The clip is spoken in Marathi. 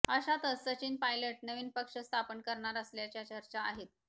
अशातच सचिन पायलट नवीन पक्ष स्थापन करणार असल्याच्या चर्चा आहेत